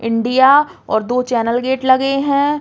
इंडिया और दो channel gate लगे हैं।